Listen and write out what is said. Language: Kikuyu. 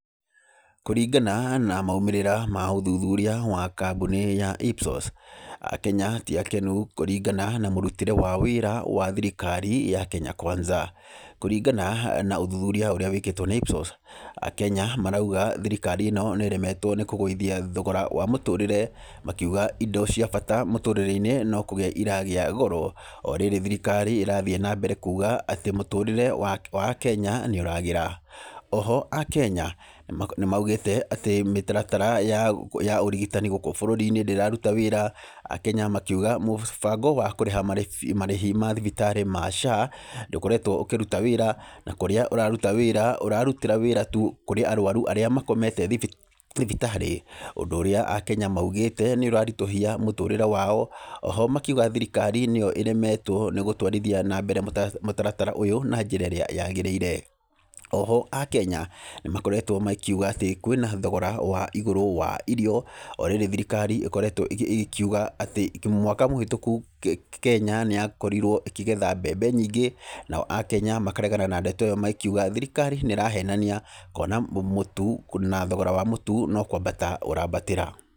Kũrĩngana na maũmĩrĩra ma ũthuthuria wa kambuni ya IPSOS, akenya tĩ akenu kũrĩngana na mũrũtĩre wa wĩra wa thirikari ya Kenya Kwanza. Kũrĩngana na ũthuthuria ũrĩa wĩkĩtwo nĩ IPSOS, akenya maraũga thirikari ĩno nĩ ĩremetwo nĩ kũgũithia thogora wa mũtũrĩre, makĩũga indo cia bata mũtũrĩre-inĩ no kũgĩa iragĩa goro. O rĩrĩ thirikari ĩrathiĩ na mbere kuuga atĩ mũtũrĩre wa akenya nĩ ũragĩra. Oho akenya nĩ maũgĩte atĩ mĩtaratara ya ũrĩgĩtani gũkũ bũrũri-inĩ ndĩraruta wĩra. Akenya makĩũga mũbango wa kũrĩha marĩhi ma thibitarĩ ma SHA ndũkoretwo ũkĩruta wĩra, na kũrĩa ũrarũta wĩra, ũrarutĩra wĩra tu kũrĩ arwaru arĩa makomete thibitarĩ. Ũndũ ũrĩa akenya maũgĩte nĩ ũrarĩtũhia mũtũrĩre wao. Oho makĩũga thirikari nĩ ĩyo ĩremetwo nĩ gũtwarĩthia na mbere mũtaratara ũyũ na njĩra ĩrĩa yagĩrĩire. Oho akenya nĩ makoretwo makĩũga atĩ kwĩna thogora wa igũrũ wa irio, o rĩrĩ thirikari ĩgĩkoretwo ĩgĩkĩũga atĩ mwaka mũhĩtũku Kenya nĩ yakorirwo ĩgĩkĩgetha mbembe nyingĩ. Nao akenya makaregana na ndeto ĩyo magĩkĩũga thirikari nĩ ĩrahenania, kũona mũtũ, na thogora wa mũtũ no kwambatĩra ũrambatĩra.